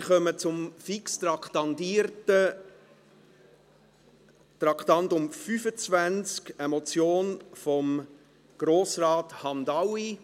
Wir kommen zum fix traktandierten Traktandum 25, einer Motion von Grossrat Hamdaoui.